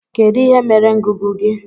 Kedu ihe mere ngụgụ gị?